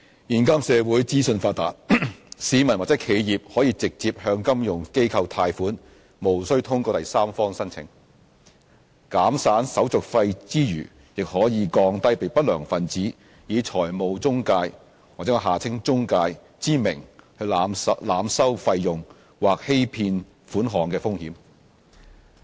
現今社會資訊發達，市民或企業可以直接向金融機構貸款，無須通過第三方申請，減省手續費之餘，亦可降低被不良分子以財務中介之名濫收費用或欺騙款項的風險。